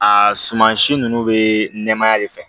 A suman si nunnu be nɛmaya de fɛ